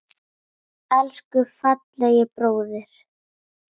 Elsku fallegi bróðir.